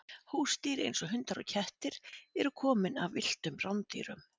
Húsdýr eins og hundar og kettir eru komin af villtum rándýrum.